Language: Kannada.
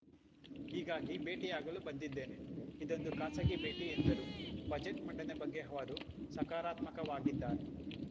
ಹೀಗಾಗಿ ಭೇಟಿಯಾಗಲು ಬಂದಿದ್ದೇನೆ ಇದೊಂದು ಖಾಸಗಿ ಭೇಟಿ ಎಂದರು ಬಜೆಟ್‌ ಮಂಡನೆ ಬಗ್ಗೆ ಅವರು ಸಕಾರಾತ್ಮಕವಾಗಿದ್ದಾರೆ